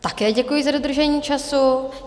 Také děkuji za dodržení času.